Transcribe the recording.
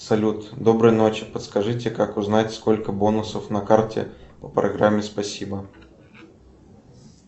салют доброй ночи подскажите как узнать сколько бонусов на карте по программе спасибо